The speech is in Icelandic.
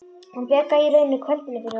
Hún bjargaði í rauninni kvöldinu fyrir honum.